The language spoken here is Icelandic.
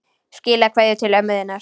Skilaðu kveðju til ömmu þinnar.